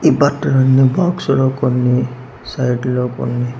ఈ బట్టలన్నీ బాక్స్ లో కొన్ని సైడ్ లో కొన్ని